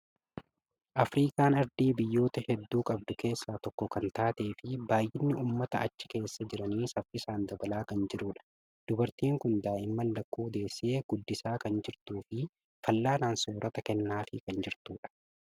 Afirikaan ardii biyyoota hedduu qabdu keessaa tokko kan taatee fi baay'inni uummata achi keessa jiranii saffisaan dabalaa kan jirudha. Dubartiin kun daa'imman lakkuu deessee guddisaa kan jirtuu fi fal'aanaan soorata kennaafii kan jirtudha.